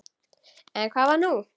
En hvað var nú?